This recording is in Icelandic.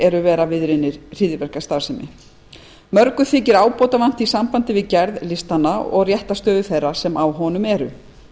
eru vera viðriðnir hryðjuverkastarfsemi en þykir mörgu ábótavant í sambandi við gerð listanna og réttarstöðu þeirra sem á honum eru